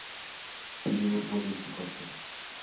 перевод владельцу карты